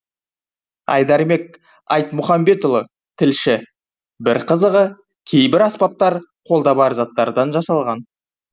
айдарбек айтмұхамбетұлы тілші бір қызығы кейбір аспаптар қолда бар заттардан жасалған